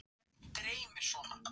Sindri: Ertu feginn niðurstöðunni?